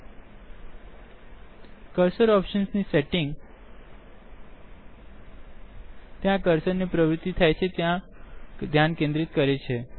000427 000405 cursor optionsનિ setting ક્યાં કર્સરને પ્રવૃત્તિ થાય છેક્યાં ધ્યાન કેન્દ્રિત કરે છે